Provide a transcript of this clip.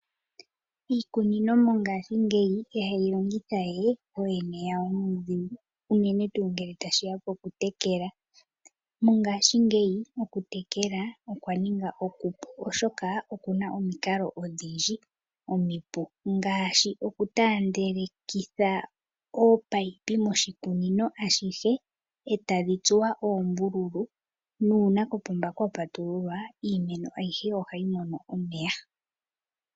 Aanikunino mo ngaashi ngeyi ihaalongowe nuudhigu ngele tashiya poku tekela iimeno. Mo ngaashi ngeyi okutekela iimeno okwa ninga okupu oshoka opuna omikalo odhindji omipu ndhoka aanikunino haalongitha opo ya tekele iimeno yawo ngaashi okutandelekitha oopayipi moshikunino ashihe eta dhitsuwa oombululu nuuna kopomba kwa patululwa iimeno ayihe oha yi mono omeya.